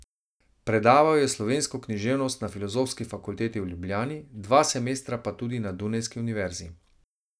Predaval je slovensko književnost na Filozofski fakulteti v Ljubljani, dva semestra pa tudi na dunajski univerzi.